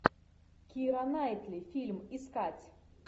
кира найтли фильм искать